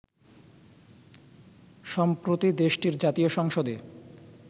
সম্প্রতি দেশটির জাতীয় সংসদে